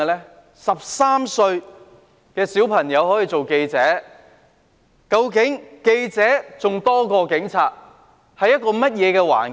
一名13歲小朋友可以當記者，記者比警察還要多，當時是怎樣的環境？